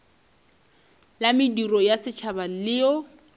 la mediro ya setšhaba leo